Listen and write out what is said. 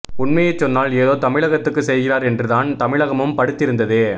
உண்மையைச்சொன்னால் ஏதோ தமிழகத்துக்கு செய்கிறார் என்று தான் தமிழகமும் படுத்திருந்தது